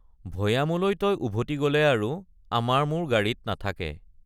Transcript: ভৈয়ামলৈ তই উভতি গলে আৰু আমাৰ মূৰ গাৰিত নাথাকে।